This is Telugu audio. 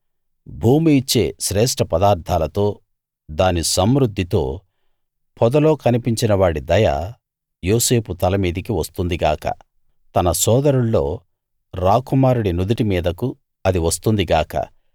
భూమి ఇచ్చే శ్రేష్ఠ పదార్థాలతో దాని సమృద్ధితో పొదలో కనిపించిన వాడి దయ యోసేపు తల మీదికి వస్తుంది గాక తన సోదరుల్లో రాకుమారుడి నుదిటి మీదకు అది వస్తుంది గాక